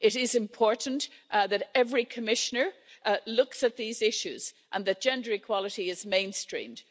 It is important that every Commissioner looks at these issues, and that gender equality is mainstreamed.